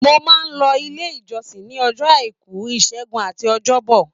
Mo máa n lọ ilé ìjọsìn ní ọjọ́ àìkú, ìṣẹgun àti ọjọ́ bọ.